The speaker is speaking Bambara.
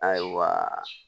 Ayiwa